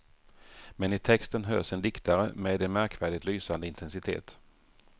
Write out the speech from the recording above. Men i texten hörs en diktare, med en märkvärdigt lysande intensitet.